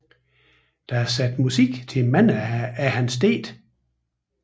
Der er sat musik til mange af hans digte